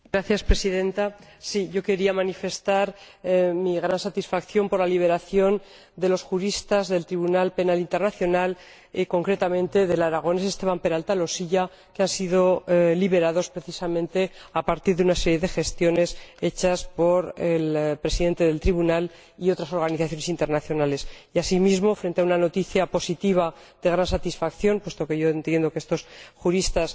Señora Presidenta, yo quería manifestar mi gran satisfacción por la liberación de los juristas del Tribunal Penal Internacional, y, concretamente, del aragonés Esteban Peralta Losilla, que han sido liberados precisamente tras una serie de gestiones hechas por el Presidente del Tribunal y otras organizaciones internacionales. Y, asimismo, frente a una noticia positiva de gran satisfacción, puesto que yo entiendo que estos juristas